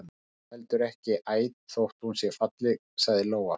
Hún er heldur ekki æt þótt hún sé falleg, sagði Lóa.